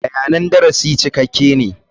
Bayanan darasi cikakke ne.